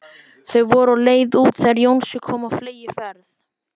Þau voru á leið út þegar Jónsi kom á fleygiferð.